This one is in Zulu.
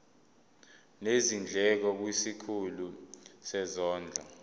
nezindleko kwisikhulu sezondlo